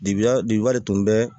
Dibi wa bi de tun bɛ